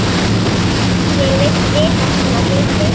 Ég vil vita svona hluti.